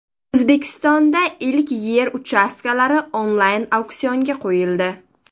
O‘zbekistonda ilk yer uchastkalari onlayn auksionga qo‘yildi.